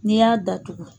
N'i y'a datugu